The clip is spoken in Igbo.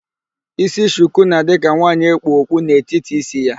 Ísí shuku na-adị ka nwaanyị e kpu okpu n'etiti ísí ya.